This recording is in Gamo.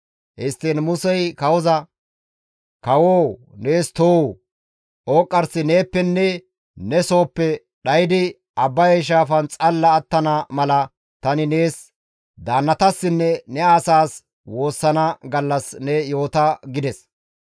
Histtiin Musey kawoza, «Kawoo nees too! Ooqqarsi neeppenne ne sooppe dhaydi Abbaye shaafan xalla attana mala tani nees, daannatassinne ne asaas woossana gallas ne yoota» gides.